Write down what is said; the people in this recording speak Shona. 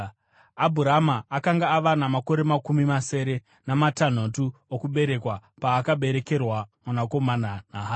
Abhurama akanga ava namakore makumi masere namatanhatu okuberekwa paakaberekerwa mwanakomana naHagari.